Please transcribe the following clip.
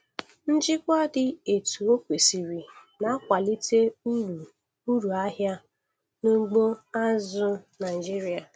Njikwa dị etu o kwesiri na-akwalite uru uru ahịa n'ugbo azụ̀ Naịjiria.